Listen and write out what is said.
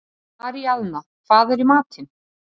Aríaðna, hvað er í matinn?